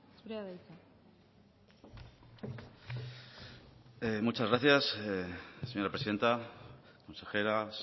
zurea da hitza muchas gracias señora presidenta consejeras